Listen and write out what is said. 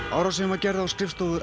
árásin var gerð á skrifstofur